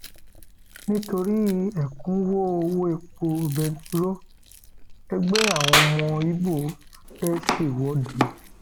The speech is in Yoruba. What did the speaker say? nítorí ẹkúnwọ um owó epo bẹntiróòlù ẹgbẹ àwọn ọmọ ibo um fẹẹ ṣèwọde